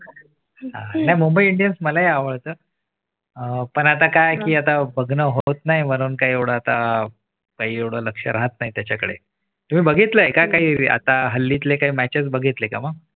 हा नाही मुंबई इंडियन्स मलाही आवडतात. अह पण आता काय की आता बघा होत नाही म्हणून काय एवढं आता काही एवढं लक्ष राहत नाही त्याच्याकडे तुम्ही बघितलं आहे. काही आता हल्ली च्या काही match बघितले का मग?